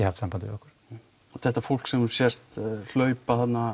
haft samband við okkur þetta fólk sem sést hlaupa þarna